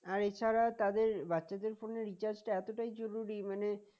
আর ছাড়া তাদের বাচ্ছাদের phone এর recharge টা এতটাই জরুরি মানে